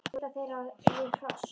Og svo éta þeir á við hross!